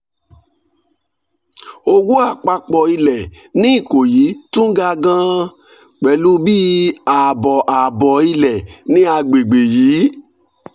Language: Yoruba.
owó àpapọ̀ ilẹ̀ ní ikoyi tún ga gan-an pẹ̀lú bí ààbọ̀ ààbọ̀ ilẹ̀ ní àgbègbè yìí